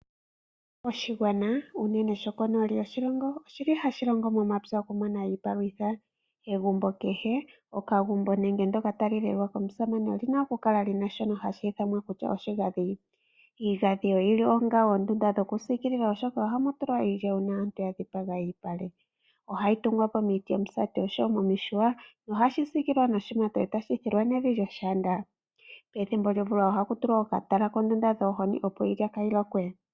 Oshigwana unene shokonooli yoshilongo oshi li hashi longo momapya okumona iipalutha. Egumbo kehe, okagumbo nenge ndoka tali lelwa komusamane olina okukala li na shoka hashi ithanwa oshigandhi. Iigandhi oyili onga oondunda dhokusiikilila oshoka ohamu tulwa iilya uuna aantu ya dhipaga omalupale. Ohayi tungwa po miiti yomusati osho wo momihuya nohashi siikilwa noshimato shakolongwa nevi lyoshiyanda. Pethimbo lyomvula ohaku tulwa okatala kondunda yopmwiidhi opo iilya kaayilokwe.